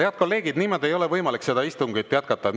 Head kolleegid, niimoodi ei ole võimalik seda istungit jätkata.